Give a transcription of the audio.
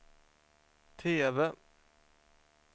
TV